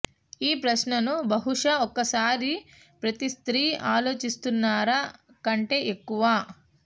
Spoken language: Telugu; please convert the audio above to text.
ఈ ప్రశ్నను బహుశా ఒకసారి ప్రతి స్త్రీ ఆలోచిస్తున్నారా కంటే ఎక్కువ